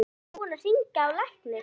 Ertu ekki búinn að hringja á lækni?